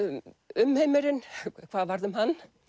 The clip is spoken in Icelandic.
umheimurinn hvað varð um hann